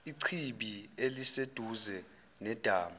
ichibi eliseduze nedamu